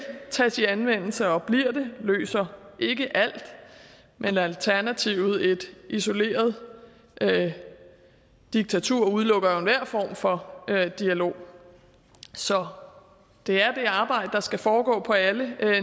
tages i anvendelse og bliver det det løser ikke alt men alternativet et isoleret diktatur udelukker enhver form for dialog så det er det arbejde der skal foregå på alle